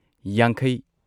ꯌꯥꯡꯈꯩ